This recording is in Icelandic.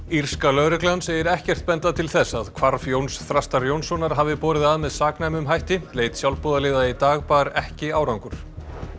írska lögreglan segir ekkert benda til þess að hvarf Jóns Þrastar Jónssonar hafi borið að með saknæmum hætti leit sjálfboðaliða í dag bar ekki árangur